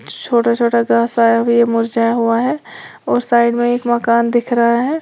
छोटा छोटा घास आया है ये मुरझाया हुआ है और साइड में एक मकान दिख रहा है।